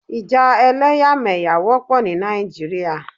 Ìjà ẹlẹ́yàmẹ̀yà wọ́pọ̀ ní Nàìjíríà.